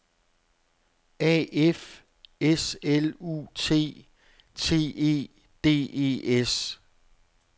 A F S L U T T E D E S